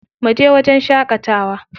Mu je wajen shaƙatawa.